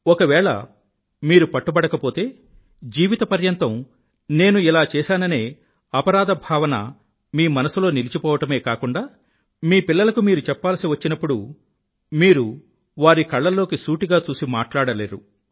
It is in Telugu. ఒకవేళ మీరు పట్టుబడకపోతే జీవితపర్యంతం నేను ఇలా చేసాననే అపరాధభావం మీ మనసులో నిలిచిపోవడమే కాకుండా మీ పిల్లలకు మీరు చెప్పాల్సి వచ్చినప్పుడు మీరు వారి కళ్ళల్లోకి సూటిగా చూసి మాట్లాడలేరు